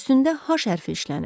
Üstündə H hərfi işlənib.